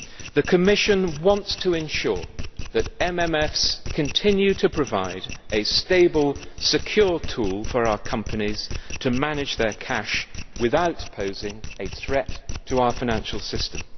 The Commission wants to ensure that MMFs continue to provide a stable, secure tool for our companies to manage their cash without posing a threat to our financial system.